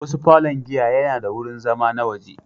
Wasu falon giya yana da wurin zama na waje.